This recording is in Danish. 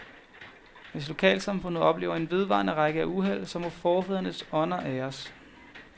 Hvis lokalsamfundet oplever en vedvarende række af uheld, så må forfædrenes ånder æres.